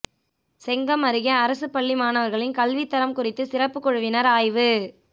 செங்கம் அருகே அரசுப்பள்ளி மாணவா்களின் கல்வித்தரம் குறித்து சிறப்பு குழுவினா் ஆய்வு